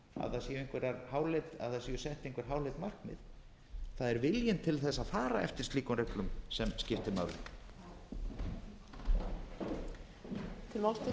ekki las á vantar í stjórnarráðið að það séu sett einhver háleit markmið það er viljinn til þess að fara eftir slíkum reglum sem skiptir máli